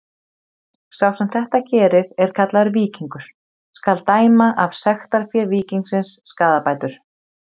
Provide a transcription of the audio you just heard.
Sá sem þetta gerir er kallaður víkingur: skal dæma af sektarfé víkingsins skaðabætur.